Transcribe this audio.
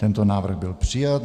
Tento návrh byl přijat.